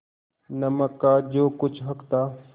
नमक का जो कुछ हक था